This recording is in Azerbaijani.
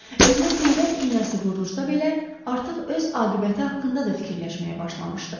Özünə peyvənd iynəsi vurulsa belə, artıq öz aqibəti haqqında da fikirləşməyə başlamışdı.